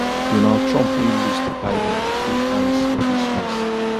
donald trump wey lose to biden go face harris for dis race